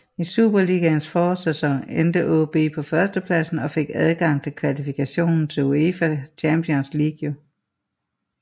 I Superligaens forårssæson endte AaB på førstepladsen og fik adgang til kvalifikationen til UEFA Champions League